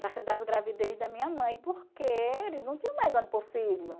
das gravidez da minha mãe, porque eles não tinham mais onde pôr filho.